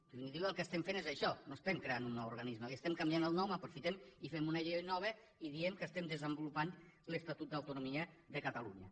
en definitiva el que estem fent és això no estem creant un nou organisme li estem canviat el nom aprofitem i fem una llei nova i diem que estem desenvolupant l’estatut d’autonomia de catalunya